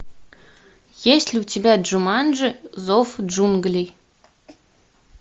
есть ли у тебя джуманджи зов джунглей